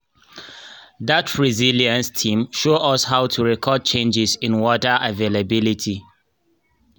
dat resilience team show us how to record changes in water availability